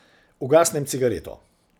Ugasnem cigareto.